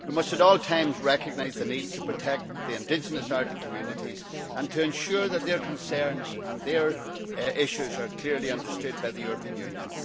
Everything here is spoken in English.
We must at all times recognise the need to protect the indigenous Arctic communities and to ensure that their concerns and their issues are clearly understood by the European Union.